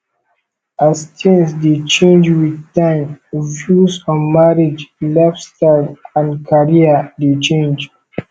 as things dey change with time views on marriage lifestyle and career dey change